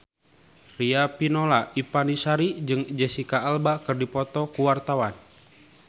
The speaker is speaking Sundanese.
Riafinola Ifani Sari jeung Jesicca Alba keur dipoto ku wartawan